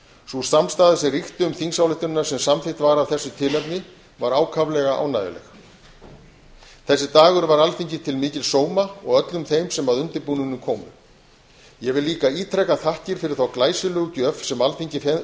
sú samstaða sem ríkti um þingsályktunina sem samþykkt var af þessu tilefni var ákaflega ánægjuleg þessi dagur var alþingi til mikils sóma og öllum þeim sem að undirbúningnum komu ég vil líka ítreka þakkir fyrir þá glæsilegu gjöf sem alþingi fékk